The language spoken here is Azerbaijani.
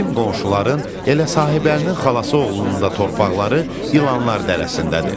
Bizim qonşuların, elə Sahibəlinin xalası oğlunun da torpaqları İlanlar dərəsindədir.